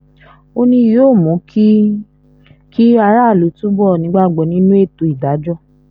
ó ní yóò mú kí kí aráàlú túbọ̀ nígbàgbọ́ nínú ètò ìdájọ́